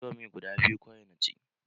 Indomi guda biyu kawai na ci.